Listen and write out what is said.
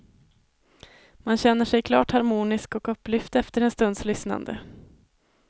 Man känner sig klart harmonisk och upplyft efter en stunds lyssnande.